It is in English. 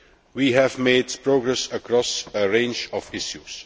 We have made progress across a range of issues.